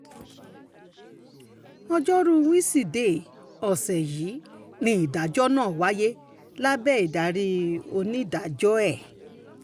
ọjọ́rùú wẹ́ṣídẹ̀ẹ́ ọ̀sẹ̀ yìí ni ìdájọ́ náà wáyé lábẹ́ ìdarí onídàájọ́ ẹ̀